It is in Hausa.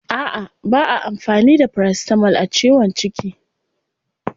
A'a ba'a amfani da paracetamol a ciwon ciki.